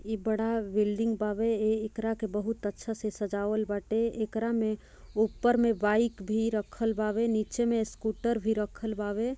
इ बड़ा बिल्डिंग बावे एकरा के बहुत अच्छे से सजावल बाटे एकरा में ऊपर में बाइक भी रखल बाबे नीचे में स्कूटर भी रखल बाबे |